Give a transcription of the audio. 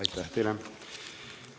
Aitäh teile!